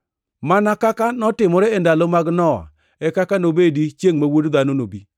Mana kaka notimore e ndalo mag Nowa e kaka nobedi chiengʼ ma Wuod Dhano nobi.